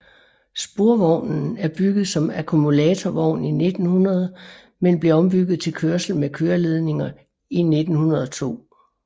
Sporvognen er bygget som akkumulatorvogn i 1900 men blev ombygget til kørsel med køreledninger i 1902